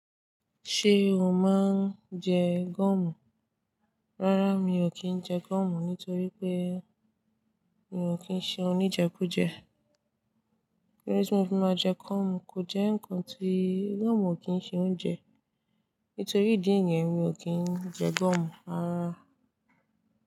Ṣé o máa ń jẹ gumu? Rárá, mi ò kí ń jẹ gúmu nítorí pé mi ò kí ń ṣe oníjẹkújẹ. Kí ló de ti mọ fi máa jẹ gúmu? Kò jẹ́ ǹkan ti i, gúmu ò kí ń ṣe oúnjẹ. Nítorí ìdí yẹn mi ò kí ń jẹ gúmu, rárá.